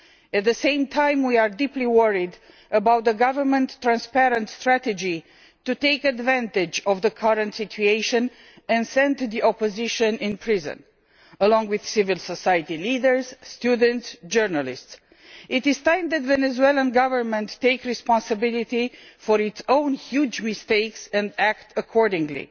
At the same time we are deeply worried about the government's transparent strategy to take advantage of the current situation and send members of the opposition to prison, along with civil society leaders, students and journalists. It is time that the Venezuelan Government took responsibility for its own huge mistakes and acted accordingly.